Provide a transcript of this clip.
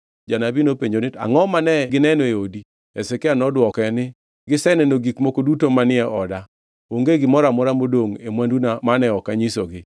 Janabi nopenjo niya, “Angʼo mane gineno e odi?” Hezekia nodwoke niya, “Giseneno gik moko duto manie oda. Onge gimoro amora modongʼ e mwanduna mane ok anyisogi.”